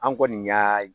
An kɔni y'a